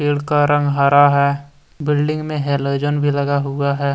पेड़ का रंग हरा है बिल्डिंग में हेलोजन भी लगा हुआ है।